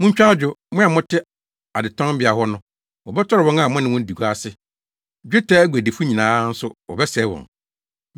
Muntwa adwo, mo a mote adetɔnbea hɔ no wɔbɛtɔre wɔn a mo ne wɔn di gua ase, dwetɛ aguadifo nyinaa nso wɔbɛsɛe wɔn.